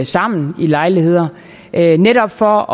sammen i lejligheder netop for